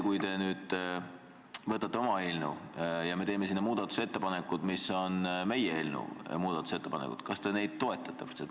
Kui te nüüd võtate oma eelnõu ja me teeme selle kohta muudatusettepanekud, mille sisu on sama kui meie eelnõu oma, kas te siis neid toetate?